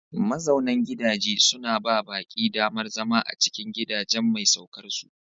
Mazaunan gidaje suna ba baƙi damar zama a cikin gidajen mai saukarsu.